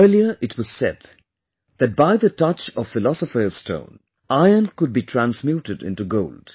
Earlier it was said that by the touch of philosopher's stone, iron could be transmuted in to gold